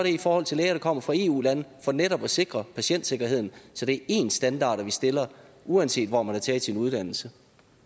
i forhold til læger der kommer fra eu lande for netop at sikre patientsikkerheden så det er ens standarder vi stiller uanset hvor man har taget sin uddannelse